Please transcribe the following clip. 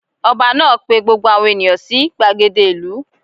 Ọba náà pe gbogbo àwọn ènìyàn sí gbàgede ìlú